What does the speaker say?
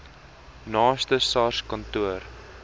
naaste sars kantoor